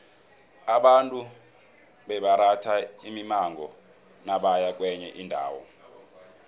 abantu bebaratha imimango nabaya kwenye indawo